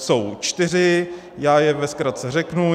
Jsou čtyři, já je ve zkratce řeknu: